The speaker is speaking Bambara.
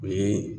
O ye